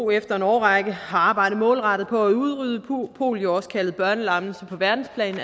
efter en årrække har arbejdet målrettet på at udrydde polio også kaldet børnelammelse på verdensplan